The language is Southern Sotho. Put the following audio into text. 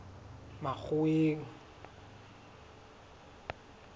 makgoweng